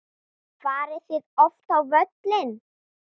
Farið þið oft á völlinn?